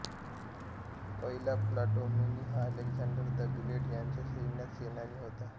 पहिला प्टॉलेमी हा Alexander the Great याच्या सैन्यात सेनानी होता